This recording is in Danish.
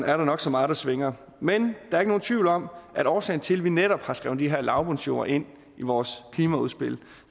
er der nok så meget der svinger men der er ikke nogen tvivl om at årsagen til at vi netop har skrevet de her lavbundsjorde ind i vores klimaudspil